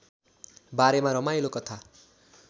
बारेमा रमाइलो कथा